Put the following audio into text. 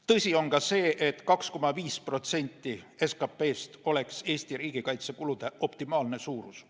Tõsi on ka see, et 2,5% SKP-st oleks Eesti riigikaitsekulude optimaalne suurus.